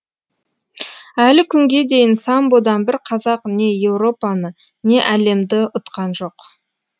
әлі күнге дейін самбодан бір қазақ не еуропаны не әлемді ұтқан жоқ